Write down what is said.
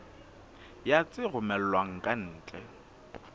ya tse romellwang ka ntle